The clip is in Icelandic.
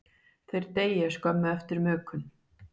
Þeir deyja skömmu eftir mökun.